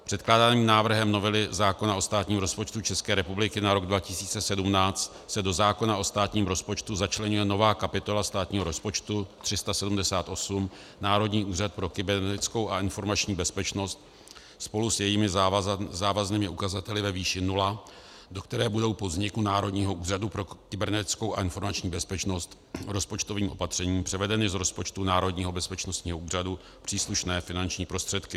Předkládaným návrhem novely zákona o státním rozpočtu České republiky na rok 2017 se do zákona o státním rozpočtu začleňuje nová kapitola státního rozpočtu 378 Národní úřad pro kybernetickou a informační bezpečnost spolu s jejími závaznými ukazateli ve výši nula, do které budou po vzniku Národního úřadu pro kybernetickou a informační bezpečnost rozpočtovým opatřením převedeny z rozpočtu Národního bezpečnostního úřadu příslušné finanční prostředky.